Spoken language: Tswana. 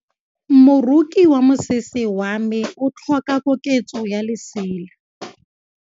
Moroki wa mosese wa me o tlhoka koketsô ya lesela.